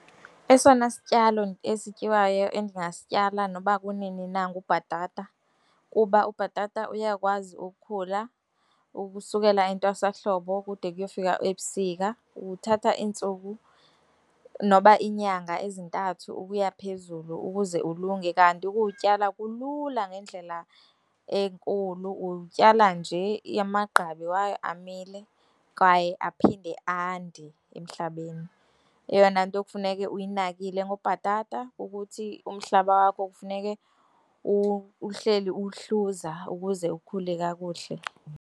Esona sityalo esityiwayo endingasityala nokuba kunini na ngubhatata, kuba ubhatata uyakwazi ukukhula ukusukela entwasa hlobo kude uyofika ebusika, uthatha iintsuku noba iinyanga ezintathu ukuya phezulu ukuze ulunge. Kanti ukuwutyala kulula ngendlela enkulu. Utyala nje amagqabi wayo amile, kwaye aphinde ande emhlabeni. Eyona nto kufuneke uyinakile ngobhatata ukuthi umhlaba wakho kufuneke uhleli uwuhluza ukuze ukhule kakuhle.